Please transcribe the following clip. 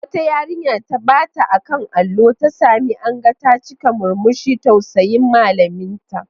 Wata yarinya da ta bata a kan allo, ta sami anga ta cikin murmushin tausayin malaminta.